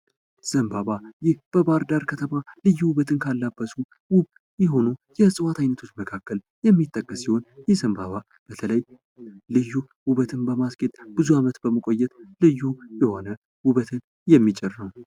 ዘንባባ ይህ በባህርዳር ከተማ ልዩ ውበትን ካላበሱ ውብ የሆኑ የዕፅዋት አይነቶች መካከል የሚጠቀስ ሲሆን ይህ ዘንባባ በተለይ ልዩ ውበትን በማስጌጥ ብዙ አመት በመቆየት ልዩ የሆነ ውበትን የሚጭር ነው።